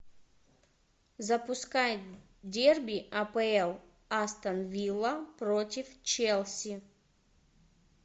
запускай дерби апл астон вилла против челси